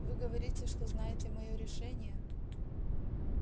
вы говорите что знаете моё решение